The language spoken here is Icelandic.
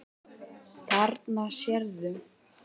Þarna sérðu.